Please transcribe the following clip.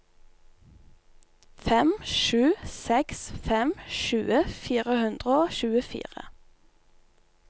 fem sju seks fem tjue fire hundre og tjuefire